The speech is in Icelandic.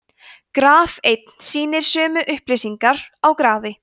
graf einn sýnir sömu upplýsingar á grafi